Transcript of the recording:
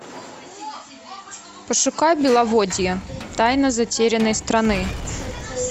пошукай беловодье тайна затерянной страны